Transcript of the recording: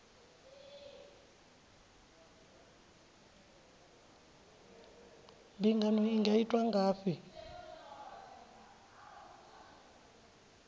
mbingano i nga itwa ngafhi